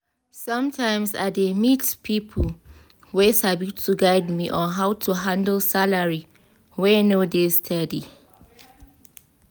sometimes i dey meet money people wey sabi to guide me on how to handle salary wey no dey steady.